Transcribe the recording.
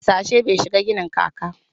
Harsashe bai shigan ginin kaka